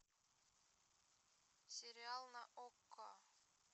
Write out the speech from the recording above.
сериал на окко